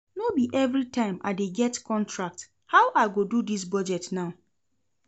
No be everytime I dey get contract, how I go do dis budget now?